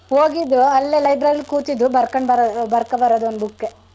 ಹೋಗಿದ್ದು ಅಲ್ಲೇ lib rary ಲ್ ಕುತಿದ್ದು ಬರ್ಕಬರದು ಬರದು ಬರ್ಕ ಬರದು ಒಂದ್ book ಗೆ.